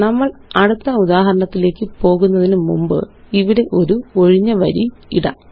നമ്മള് അടുത്ത ഉദാഹരണത്തിലേയ്ക്ക് പോകുന്നതിനു മുമ്പ് ഇവിടെ ഒരു ഒഴിഞ്ഞ വരി ഇടാം